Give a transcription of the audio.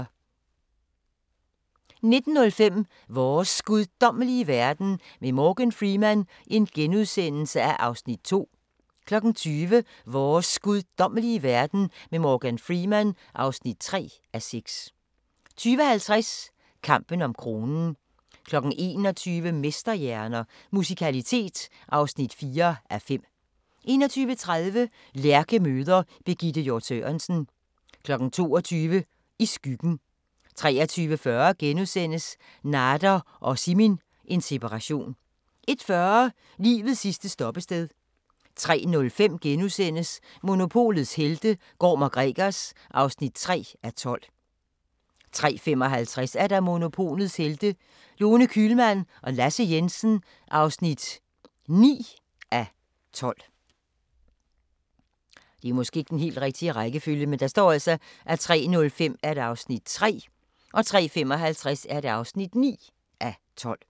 19:05: Vores guddommelige verden med Morgan Freeman (2:6)* 20:00: Vores guddommelige verden med Morgan Freeman (3:6) 20:50: Kampen om kronen 21:00: Mesterhjerner – Musikalitet (4:5) 21:30: Lærke møder Birgitte Hjort Sørensen 22:00: I skyggen 23:40: Nader og Simin – en separation * 01:40: Livets sidste stoppested 03:05: Monopolets helte - Gorm & Gregers (3:12)* 03:55: Monopolets Helte – Lone Kühlmann og Lasse Jensen (9:12)